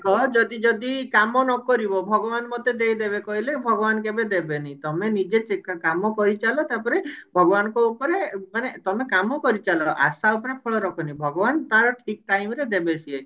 କହ ଯଦି ଯଦି କାମ ନକରିବ ଭଗବାନ ମୋତେ ଦେଇଦେବେ କହିଲେ ଭଗବାନ କେବେ ଦେବେନି ତମେ ନିଜେ ଚି କାମ କରିଚାଲ ତାପରେ ଭଗବାନଙ୍କ ଉପରେ ମାନେ ତମେ କାମ କରିଚାଲ ଆଶା ଉପରେ ଫଳ ରଖନି ଭଗବାନ ତାର ଠିକ time ରେ ଦେବେ ସିଏ